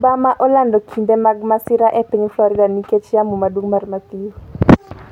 Obama olando kinde mag masira e piny Florida nikech yamo maduong' mar Matthew